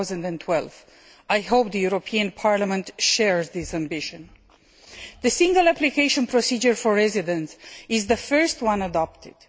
2012. I hope Parliament shares this ambition. The single application procedure for residence is the first one to be adopted